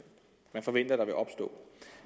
man forventer vil opstå